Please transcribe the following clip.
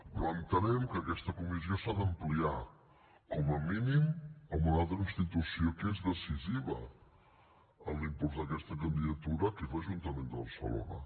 però entenem que aquesta comissió s’ha d’ampliar com a mínim amb una altra institució que és decisiva en l’impuls d’aquesta candidatura que és l’ajuntament de barcelona